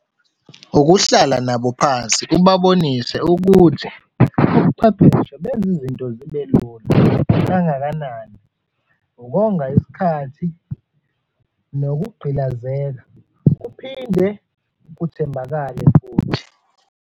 Ukuhlala nabo phansi, ubabonise ukuthi ubuchwepheshe benze izinto zibelula kangakanani, ukonga isikhathi nokuqgilazeka, kuphinde kuthembakale futhi.